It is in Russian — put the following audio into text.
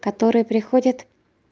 которые приходят